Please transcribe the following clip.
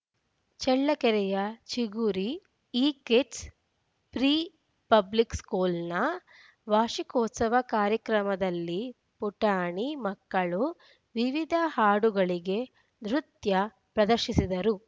ಚಳ್ಳಕೆರೆಯ Chiguri ekids pre public ಸ್ಕೂಲ್‌ನ ವಾರ್ಷಿಕೋತ್ಸವ ಕಾರ್ಯಕ್ರಮದಲ್ಲಿ ಪುಟಾಣಿ ಮಕ್ಕಳು ವಿವಿಧ ಹಾಡುಗಳಿಗೆ ನೃತ್ಯ ಪ್ರದರ್ಶಿಸಿದರು